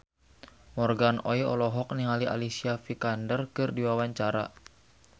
Morgan Oey olohok ningali Alicia Vikander keur diwawancara